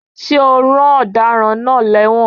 Ṣé a rán Ọ̀daràn náà lẹ́wọ̀n?